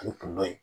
Ale kun dɔ ye